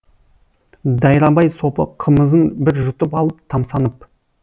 дайрабай сопы қымызын бір жұтып алып тамсанып